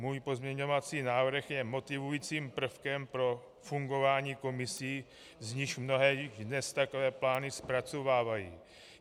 Můj pozměňovací návrh je motivujícím prvkem pro fungování komisí, z nichž mnohé dnes takové plány zpracovávají.